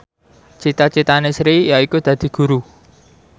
cita citane Sri yaiku dadi guru